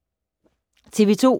TV 2